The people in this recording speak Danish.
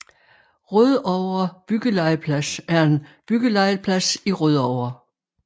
Rødovre Byggelegeplads er en byggelegeplads i Rødovre